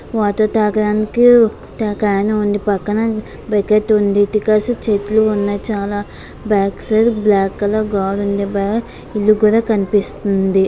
Water తాగడానికి చెట్లు ఉన్నాయి బ్యాక్ సైడ్ కలర్ ఇల్లు కూడా కనిపిస్తుంది.